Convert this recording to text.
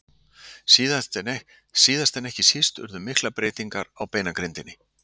Síðast en ekki síst urðu miklar breytingar á beinagrindinni.